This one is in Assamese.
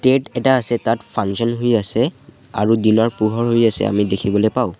টেত এটা আছে তাত ফাংচন হৈ আছে আৰু দিনৰ পোহৰ হৈ আছে আমি দেখিবলৈ পাওঁ।